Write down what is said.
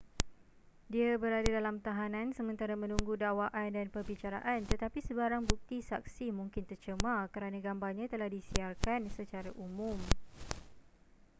dia berada dalam tahanan sementara menunggu dakwaan dan perbicaraan tetapi sebarang bukti saksi mungkin tercemar kerana gambarnya telah disiarkan secara umum